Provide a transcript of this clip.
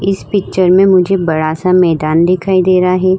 इस पिक्चर में मुझे बड़ा सा मैंदान दिखाई दे रहा है।